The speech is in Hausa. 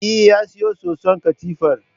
Eh, ya siyo soson katifar